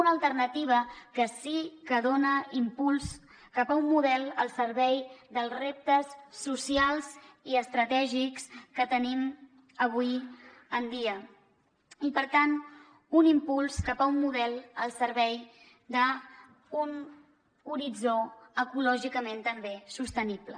una alternativa que sí que dona impuls cap a un model al servei dels reptes socials i estratègics que tenim avui en dia i per tant un impuls cap a un model al servei d’un horitzó ecològicament també sostenible